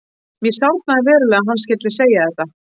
Mér sárnaði verulega að hann skyldi segja þetta.